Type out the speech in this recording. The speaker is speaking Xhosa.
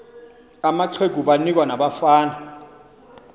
amaqegu banikwa nabafana